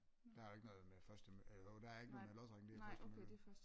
Der er jo ikke noget med først til eller jo der ikke noget med lodtrækning det er først til mølle